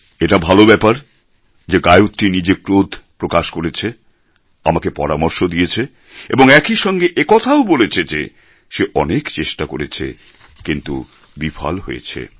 এটা ভালো ব্যাপার যে গায়ত্রী নিজে ক্রোধ প্রকাশ করেছে আমাকে পরামর্শ দিয়েছে এবং একই সঙ্গে একথাও বলেছে যে সে অনেক চেষ্টা করেছে কিন্তু বিফল হয়েছে